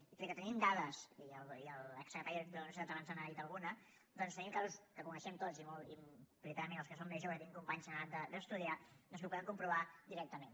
i tot i que tenim dades i l’exsecretari d’universitats abans n’ha dit alguna doncs tenim casos que coneixem tots i prioritàriament els que som més joves i tenim companys en edat d’estudiar doncs ho podem comprovar directament